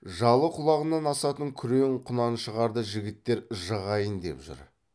жалы құлағынан асатын күрең құнаншығарды жігіттер жығайын деп жүр